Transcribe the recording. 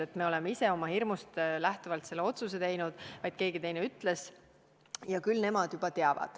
Ei ole nii, et me ise oleme oma hirmust lähtuvalt selle otsuse teinud, vaid keegi teine ütles seda ja küll tema juba teab.